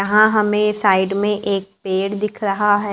यहां हमे साइड में एक पेड़ दिख रहा है।